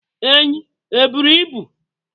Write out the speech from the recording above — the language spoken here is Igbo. Enyí e bụrụ ịbụ?